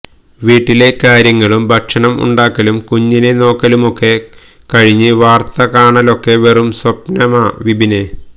വീട്ടിലെ കാര്യങ്ങളും ഭക്ഷണം ഉണ്ടാക്കലും കുഞ്ഞിനെ നോക്കലുമൊക്കെ കഴിഞ്ഞ് വാര്ത്ത കാണലൊക്കെ വെറും സ്വപ്നമാ വിപിനേ